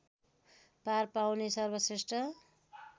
पार पाउने सर्वश्रेष्ठ